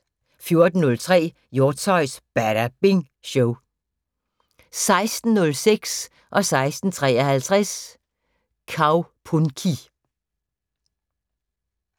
14:03: Hjortshøjs Badabing Show 16:06: Kaupunki 16:53: Kaupunki